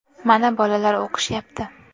Mana bolalar o‘qishyapti.